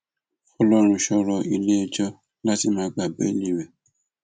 fọlọrunṣọ rọ iléẹjọ láti má gba béèlì rẹ